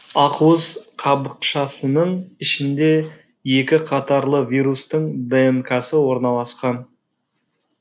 ақуыз қабықшасының ішінде екіқатарлы вирустың днксы орналасқан